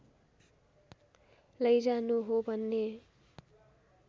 लैजानु हो भन्ने